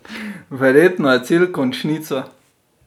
Verjetno je cilj končnica?